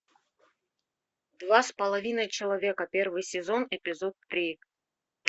два с половиной человека первый сезон эпизод три